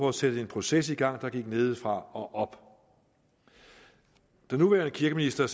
at sætte en proces i gang som gik nedefra og op den nuværende kirkeminister